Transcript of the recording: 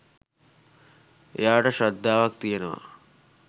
එයාට ශ්‍රද්ධාවක් තියෙනවා